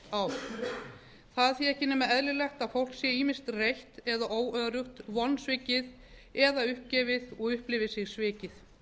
það er því ekki nema eðlilegt að fólk sé ýmist reitt eða óöruggt vonsvikið eða uppgefið og upplifi sig svikið